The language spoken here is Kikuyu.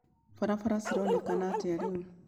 barabara cĩronekana atĩa rĩũ